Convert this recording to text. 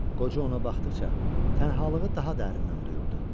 Qoca ona baxdıqca, tənhalığı daha dərindən duyurdu.